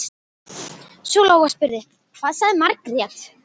Svo Lóa spurði: Hvað sagði Margrét?